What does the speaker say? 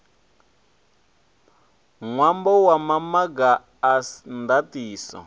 ṅwambo wa maga a ndaṱiso